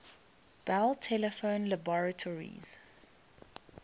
bell telephone laboratories